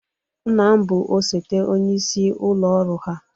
Nna m bụ osote onyeisi ụlọ ọrụ ha.